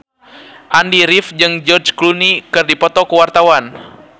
Andy rif jeung George Clooney keur dipoto ku wartawan